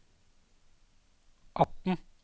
atten